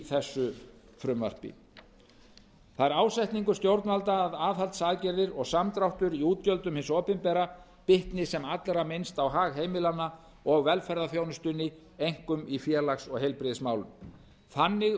þessu frumvarpi það er ásetningur stjórnvalda að aðhaldsaðgerðir og samdráttur í útgjöldum hins opinbera bitni sem allra minnst á hag heimilanna og velferðarþjónustunni einkum í félags og heilbrigðismálum þannig